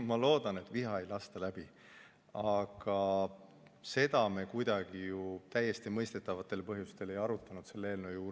Ma loodan, et viha ei lasta läbi, aga seda me ju täiesti mõistetavatel põhjustel ei arutanud selle eelnõu juures.